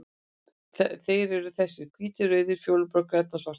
Þeir eru þessir: Hvítur, rauður, fjólublár, grænn og svartur.